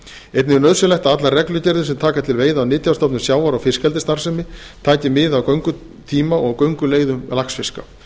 einnig er nauðsynlegt að allar reglugerðir sem taka til veiða á nytjastofnum sjávar og fiskeldisstarfsemi taki mið af göngutíma og gönguleiðum laxfiska